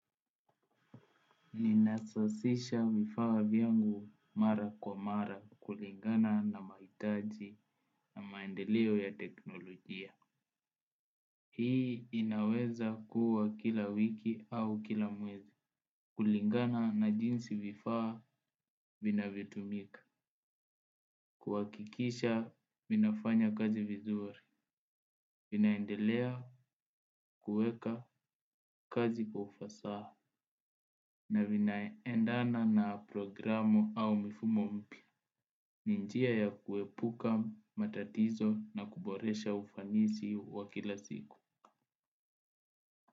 Ninasasisha vifaa vyangu mara kwa mara kulingana na maitaji na maendeleo ya teknolojia. Hii inaweza kuwa kila wiki au kila mwezi. Kulingana na jinsi vifaa vinavyotumika. Kuwakikisha vinafanya kazi vizuri. Vinaendelea kuweka kazi kwa ufasa. Na vinaendana na programu au mifumo mpya. Ni njia ya kuepuka, matatizo na kuboresha ufanisi wa kila siku.